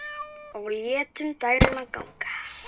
Og létum dæluna ganga.